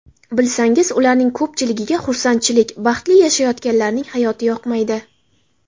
Bilsangiz, ularning ko‘pchiligiga xursandchilik, baxtli yashayotganlarning hayoti yoqmaydi!